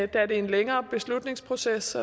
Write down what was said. det er en længere beslutningsproces